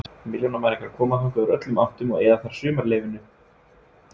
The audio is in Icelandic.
Milljónamæringar koma þangað úr öllum áttum og eyða þar sumarleyfinu, útskýrir